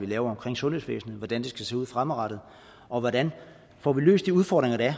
lavet om sundhedsvæsenet hvordan det skal se ud fremadrettet og hvordan vi får løst de udfordringer der er